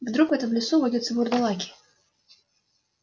вдруг в этом лесу водятся вурдалаки